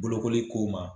Bolokoli ko ma